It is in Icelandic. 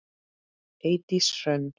Eydís Hrönn.